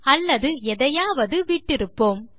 அல்லது எதையாவது விட்டிருப்போம்